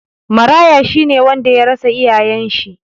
Maraya shi ne wanda ya rasa iyayen shi.